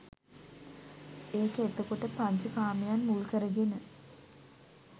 ඒක එතකොට පංච කාමයන් මුල් කරගෙන